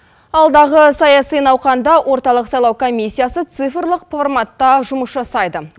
алдағы саяси науқанда орталық сайлау комиссиясы цифрлық форматта жұмыс жасайды